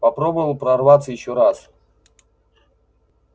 попробовал прорваться ещё раз